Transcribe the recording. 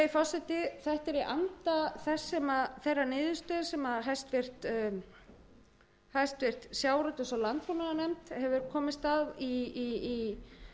breyting ýmissa laga virðulegi forseti þetta er í anda þeirrar niðurstöðu sem háttvirtur sjávarútvegs og landbúnaðarnefnd hefur komist að í